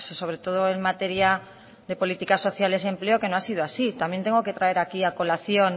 sobre todo en materia de políticas sociales y empleo que no ha sido así también tengo que traer aquí a colación